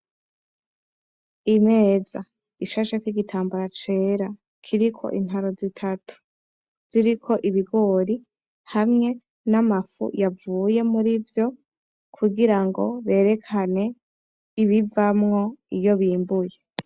Imeza ishasheko igitambara cera kiriko intaro zitatu, ziriko ibigori hamwe n'amafu yavuye murivyo, kugira ngo berekane ibivamwo iyo bimbuye